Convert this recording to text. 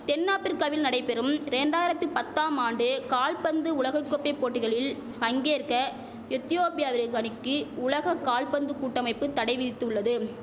தென் ஆப்பிரிக்காவில் நடைபெறும் ரெண்டாயிரத்தி பத்தாம் ஆண்டு கால்பந்து உலகைக்கோப்பை போட்டிகளில் பங்கேற்க எத்தியோப்பியாவிற்கணிக்கு உலக கால்பந்து கூட்டமைப்பு தடை விதித்துள்ளது